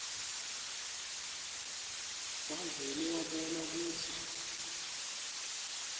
wavele wabona kutsi